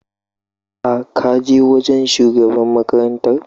Ka kaje wajan shugaban makarantar?